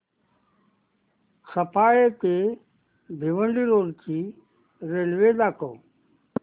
सफाळे ते भिवंडी रोड ची रेल्वे दाखव